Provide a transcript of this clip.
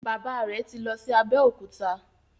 Bàbá rẹ tí lọ sì Abeokuta.